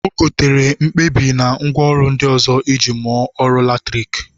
O gotere mkpabi na ngwaọrụ ndị ọzọ iji mụọ ọrụ latriki